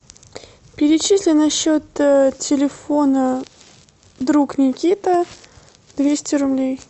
перечисли на счет телефона друг никита двести рублей